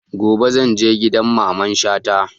Gobe zan je gidan Mamman Shata